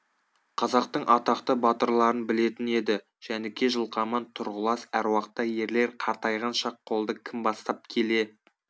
қазақтың атақты батырларын білетін еді жәніке жылқаман тұрғылас әруақты ерлер қартайған шақ қолды кім бастап келе